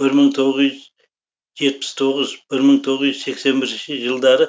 бір мың тоғыз жүз жетпіс тоғыз бір мың тоғыз жүз сексен бірінші жылдары